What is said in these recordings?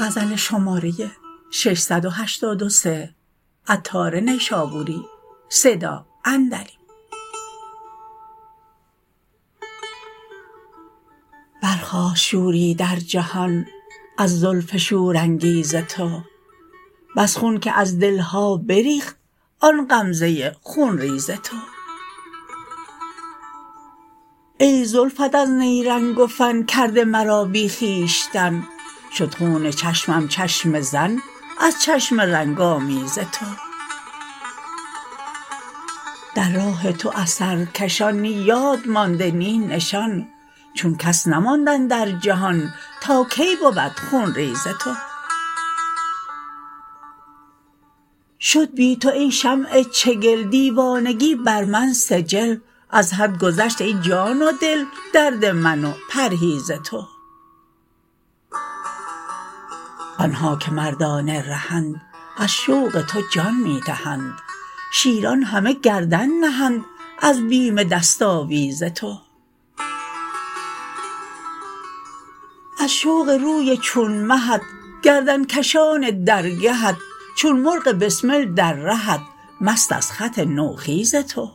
برخاست شوری در جهان از زلف شورانگیز تو بس خون که از دلها بریخت آن غمزه خون ریز تو ای زلفت از نیرنگ و فن کرده مرا بی خویشتن شد خون چشمم چشمه زن از چشم رنگ آمیز تو در راه تو از سرکشان نی یاد مانده نی نشان چون کس نماند اندر جهان تا کی بود خون ریز تو شد بی تو ای شمع چگل دیوانگی بر من سجل از حد گذشت ای جان و دل درد من و پرهیز تو آنها که مردان رهند از شوق تو جان می دهند شیران همه گردن نهند از بیم دست آویز تو از شوق روی چون مهت گردن کشان درگهت چون مرغ بسمل در رهت مست از خط نوخیز تو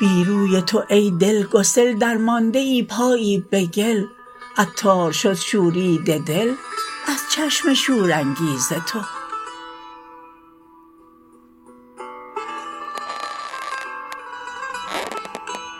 بی روی تو ای دل گسل درمانده پایی به گل عطار شد شوریده دل از چشم شورانگیز تو